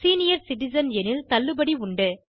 senior citizen எனில் தள்ளுபடி உண்டு